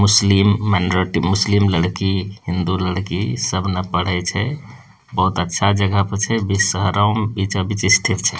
मुस्लिम मेनेट्री मुस्लिम लड़की हिन्दू लड़की सबने पढ़े छै बहुत अच्छा जगह पे छै बीच शहरो मे बीचों-बीच स्थित छै।